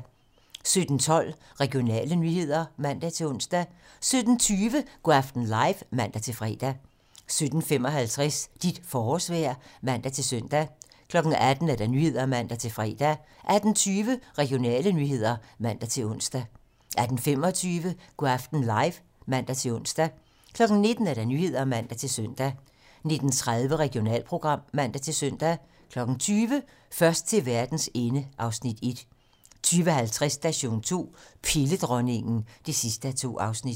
17:12: Regionale nyheder (man-ons) 17:20: Go' aften live (man-fre) 17:55: Dit forårsvejr (man-søn) 18:00: 18 Nyhederne (man-fre) 18:20: Regionale nyheder (man-ons) 18:25: Go' aften live (man-ons) 19:00: 19 Nyhederne (man-søn) 19:30: Regionalprogram (man-søn) 20:00: Først til verdens ende (Afs. 1) 20:50: Station 2: Pilledronningen (2:2)